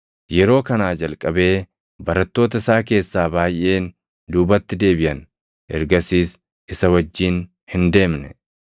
Yeroo kanaa jalqabee barattoota isaa keessaa baayʼeen duubatti deebiʼan; ergasiis isa wajjin hin deemne.